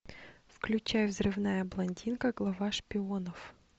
включай взрывная блондинка глава шпионов